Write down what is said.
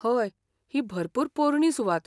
हय, ही भरपूर पोरणी सुवात.